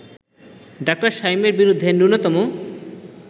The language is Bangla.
ডা. শামীমের বিরুদ্ধে ন্যূনতম